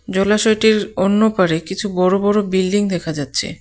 জলাশয়টির অন্য পারে কিছু বড় বড় বিল্ডিং দেখা যাচ্ছে.